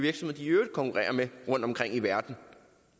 i øvrigt konkurrerer med rundtomkring i verden